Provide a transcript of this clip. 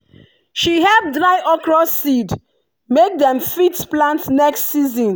she help dry okra seed make dem fit plant next season.